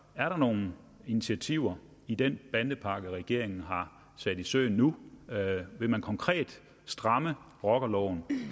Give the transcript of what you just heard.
er der nogen initiativer i den bandepakke regeringen har sat i søen nu vil man konkret stramme rockerloven